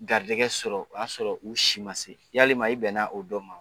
Garijɛgɛ sɔrɔ o y'a sɔrɔ u si ma se yalima i bɛnna o dɔ ma